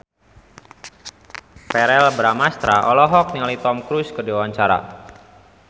Verrell Bramastra olohok ningali Tom Cruise keur diwawancara